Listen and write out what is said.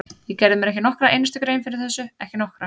Ég gerði mér ekki nokkra einustu grein fyrir þessu, ekki nokkra!